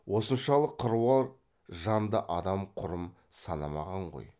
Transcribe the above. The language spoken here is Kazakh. осыншалық қыруар жанды адам құрым санамаған ғой